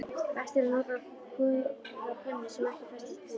Best er að nota góða pönnu sem ekki festist við.